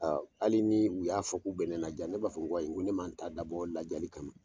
Ɔn hali ni u y'a fɔ k'u bɛ ne lajiya ne b'a fɔ ko ne ma n ta dabɔ lajali kama.